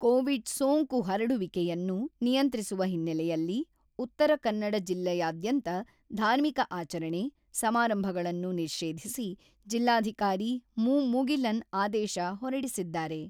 Covid ಸೋಂಕು ಹರಡುವಿಕೆಯನ್ನು ನಿಯಂತ್ರಿಸುವ ಹಿನ್ನಲೆಯಲ್ಲಿ ಉತ್ತರ ಕನ್ನಡ ಜಿಲ್ಲೆಯಾದ್ಯಂತ ಧಾರ್ಮಿಕ ಆಚರಣೆ, ಸಮಾರಂಭಗಳನ್ನು ನಿಷೇಧಿಸಿ ಜಿಲ್ಲಾಧಿಕಾರಿ ಮು ಮುಗಿಲನ್ ಆದೇಶ ಹೊರಡಿಸಿದ್ದಾರೆ.